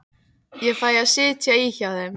Ég fæ að sitja í hjá þeim.